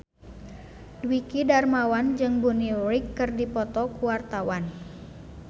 Dwiki Darmawan jeung Bonnie Wright keur dipoto ku wartawan